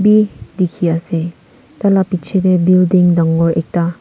bi dikhi ase taila piche te building dangor ekta--